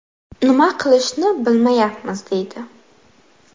Nima qilishni bilmayapmiz”, deydi.